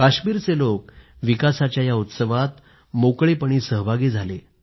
काश्मीरचे लोक विकासाच्या या उत्सवात मोकळेपणाने सहभागी झाले